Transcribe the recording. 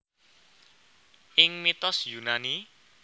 Ing mitos Yunani